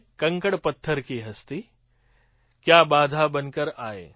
કંકડ પથ્થર કી હસ્તી ક્યા બાધા બનકર આયે